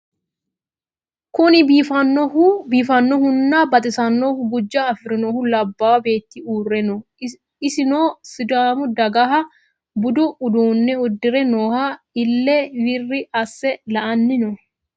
Kuni biifanohuna baxisanohu gujjano afirinohu labbahu beettu urre noo isino sidaammu daggaha budu uddune uddirre nooho Ile wirri ase la'anni noo